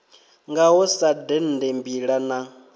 ngaho sa dende mbila na